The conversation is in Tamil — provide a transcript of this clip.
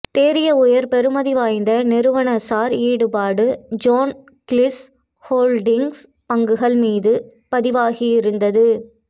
தேறிய உயர் பெறுமதி வாய்ந்த நிறுவனசார் ஈடுபாடு ஜோன் கீல்ஸ் ஹோல்டிங்ஸ் பங்குகள் மீது பதிவாகியிருந்தது